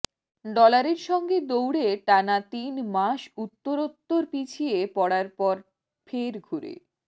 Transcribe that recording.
ডলারের সঙ্গে দৌড়ে টানা তিন মাস উত্তরোত্তর পিছিয়ে পড়ার পর ফের ঘুরে